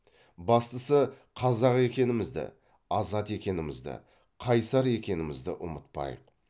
бастысы қазақ екенімізді азат екенімізді қайсар екенімізді ұмытпайық